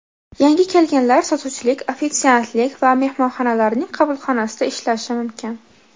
Yangi kelganlar sotuvchilik, ofitsiantlik va mehmonxonalarning qabulxonasida ishlashi mumkin.